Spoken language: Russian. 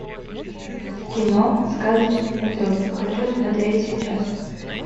кино сказочный патруль хочу смотреть сейчас